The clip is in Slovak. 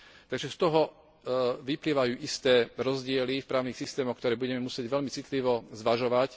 Takže z toho vyplývajú isté rozdiely v právnych systémoch, ktoré budeme musieť veľmi citlivo zvažovať.